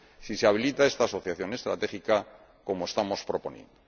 si se habilita esta asociación estratégica como estamos proponiendo.